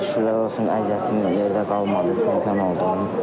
Şükürlər olsun əziyyətim yerdə qalmadı, çempion oldum.